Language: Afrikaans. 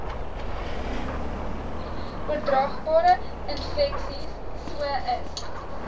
oordraagbare infeksies sois